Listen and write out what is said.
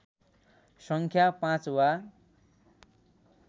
सङ्ख्या पाँच वा